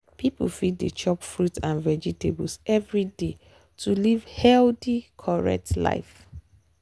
people fit dey chop fruit and vegetables every day to live correct life.